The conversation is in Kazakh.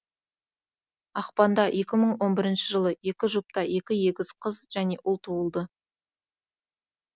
ақпанда екі мың он бірінші жылы екі жұпта екі егіз қыз және ұл туылды